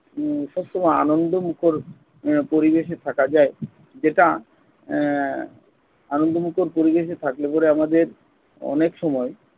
উম সবসময় আনন্দমুখর আহ পরিবেশে থাকা যায় যেটা আহ আনন্দমুখর পরিবেশে থাকলে পরে আমাদের অনেক সময়